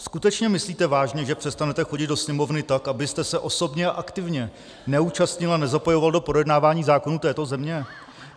Skutečně myslíte vážně, že přestanete chodit do Sněmovny, tak abyste se osobně a aktivně neúčastnil a nezapojoval do projednávání zákonů této země?